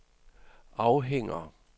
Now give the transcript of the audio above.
afhænger